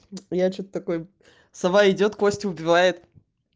я что-то такой сава идёт костя убивает